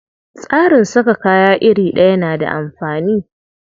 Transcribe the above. Tsarin saka kaya iri ɗaya na da amfani.